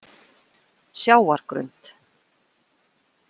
Sjávargrund